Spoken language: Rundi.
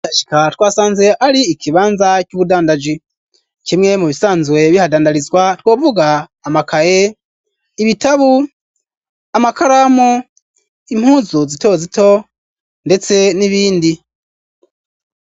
Twasanze ar'ikibanza c'ubudandaji kimwe mu bisanzwe bihadandarizwa twovuga amakaye, ibitabu, amakaramu, impuzu zito zito ndetse n'ibindi.